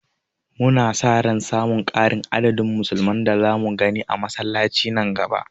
Muna sa ran samun ƙari a adadin musulman da zamu gani a masallaci nan gaba.